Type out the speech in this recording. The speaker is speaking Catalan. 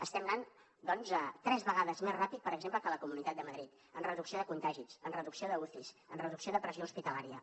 estem anant doncs tres vegades més ràpid per exemple que a la comunitat de madrid en reducció de contagis en reducció d’ucis en reducció de pressió hospitalària